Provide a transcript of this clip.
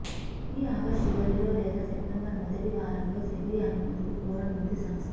ఈ ఆగస్ట్ చివరిలో లేదా సెప్టెంబర్ మొదటివారంలో సెబీ అనుమతులు కోరనుంది సంస్థ